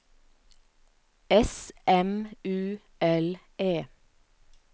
S M U L E